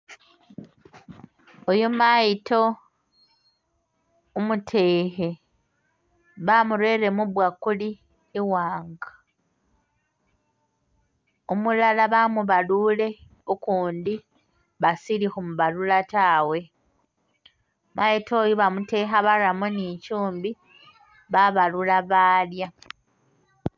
Oyo mayiito umutekhe bamurele mubwakuli i'waanga, umulala bamubalule ukundi basili khumubalula taawe, mayiito oyu bamutekha baramo ni chumbi babalula balya